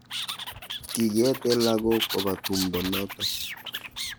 kikiete lagok koba tumdo noto